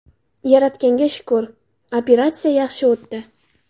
Yaratganga shukr, operatsiya yaxshi o‘tdi.